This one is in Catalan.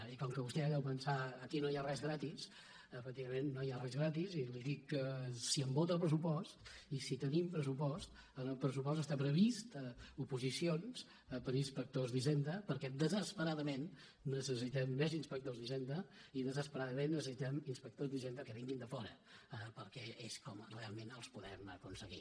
i com que vostè deu pensar aquí no hi ha res gratis efectivament no hi ha res gratis i li dic que si em vota el pressupost i si tenim pres·supost en el pressupost estan previstes oposicions per a inspectors d’hisenda perquè desesperadament ne·cessitem més inspectors d’hisenda i desesperadament necessitem inspectors d’hisenda que vinguin de fora perquè és com realment els podem aconseguir